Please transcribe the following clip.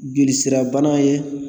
Joli sira bana ye.